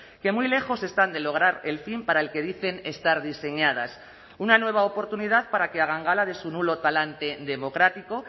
que muy lejos están de lograr el fin para el que dicen estar diseñadas una nueva oportunidad para que hagan gala de su nulo talante democrático